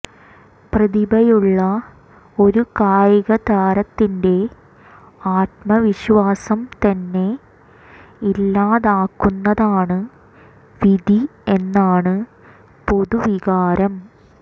പ്രതിഭയുള്ള ഒരു കായികതാരത്തിന്റെ ആത്മവിശ്വാസം തന്നെ ഇല്ലാതാക്കുന്നതാണ് വിധി എന്നാണ് പൊതു വികാരം